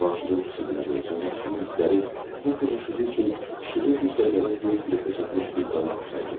Cavanşirin fikirləri, Cavanşirin hissləri bu qız işığı üçün işığı güclə gəlib yer kürəsinə çatmış bir qalaktika idi.